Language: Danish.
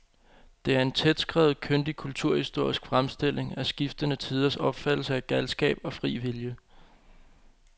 Det er en tætskrevet, kyndig kulturhistorisk fremstilling af skiftende tiders opfattelse af galskab og fri vilje.